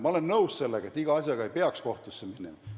Ma olen nõus sellega, et iga asjaga ei peaks kohtusse minema.